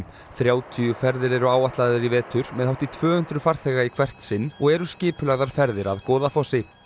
þrjátíu ferðir eru áætlaðar í vetur með hátt í tvö hundruð farþega í hvert sinn og eru skipulagðar ferðir að Goðafossi